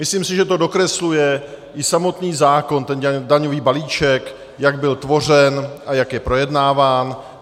Myslím si, že to dokresluje i samotný zákon, ten daňový balíček, jak byl tvořen a jak je projednáván.